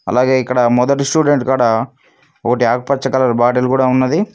అలాగే ఇక్కడ మొదటి స్టూడెంట్ కాడ ఒకటి ఆకుపచ్చ కలర్ బాటిల్ కూడా ఉన్నది.